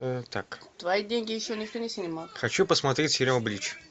хочу посмотреть сериал блич